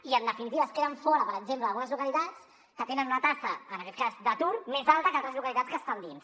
i en definitiva en queden fora per exemple algunes localitats que tenen una taxa en aquest cas d’atur més alta que altres localitats que estan dins